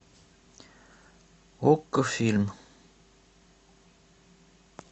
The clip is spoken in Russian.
окко фильм